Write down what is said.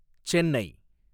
Chennai